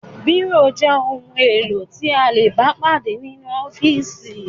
Bírò jẹ́ ohun-èlò tí a lè bá pàdé nínú ọ́fíísì.